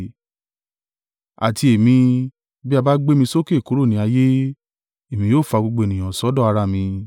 Àti èmi, bí a bá gbé mi sókè kúrò ní ayé, èmi ó fa gbogbo ènìyàn sọ́dọ̀ ara mi!”